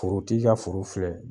Forotigi ka foro filɛ